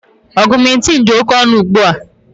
Augmentin dị oke ọnụ ugbu a